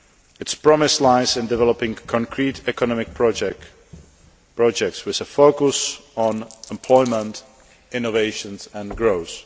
Its promise lies in developing concrete economic projects with a focus on employment, innovations and growth.